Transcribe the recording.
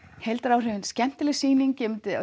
heildaráhrifin skemmtileg sýning